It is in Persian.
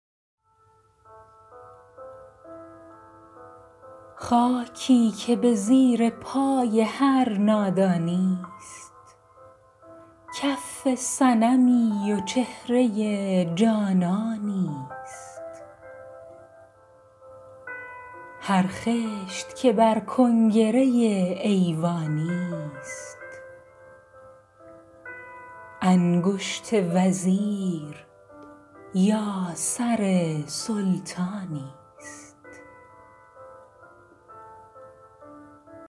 خاکی که به زیر پای هر نادانی ست کف صنمی و چهره جانانی ست هر خشت که بر کنگره ایوانی ست انگشت وزیر یا سر سلطانی ست